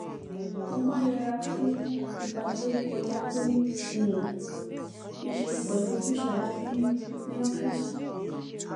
mo máa ń yẹra fún ìbanilórúkọjé tó ní um í ṣe pẹlú ojúṣàájú ní ní ófíìsì